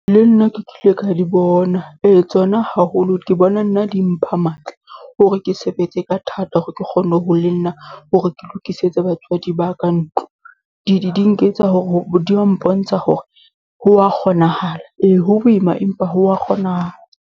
Le nna ke kile ka di bona, e tsona haholo ke bona nna di mpha matla hore ke sebetse ka thata, hore ke kgonne ho le nna hore ke lokisetse batswadi ba ka ntlo. Di di di nketsa hore di ya mpontsha hore ho ya kgonahala e, ho boima, empa ho wa kgonahala.